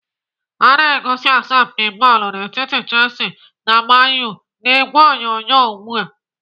Ana egosi asọmpi bọọlụ dị n'etiti Chelsea na Man U n'ìgwè onyonyo ugbu a.